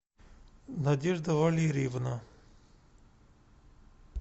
надежда валерьевна